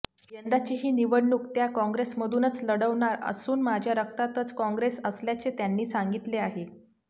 यंदाचीही निवडणूक त्या कॉंग्रेसमधूनच लढवणार असून माझ्या रक्तातच कॉंग्रेस असल्याचे त्यांनी सांगितले आहे